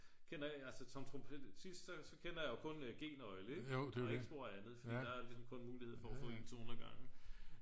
kender altså som trompist kender jeg kun g-nøgle og ikke spor andet så der er ligesom kun mulighed for at få en tone ad gangen